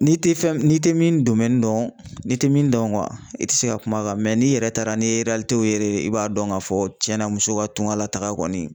N'i tɛ fɛn n'i tɛ min don, n'i tɛ min dɔn i tɛ se ka kuma kan mɛ n'i yɛrɛ taara n'i ye yɛrɛ ye i b'a dɔn k'a fɔ tiɲɛna muso ka tunka lataga kɔni